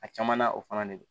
A caman na o fana de don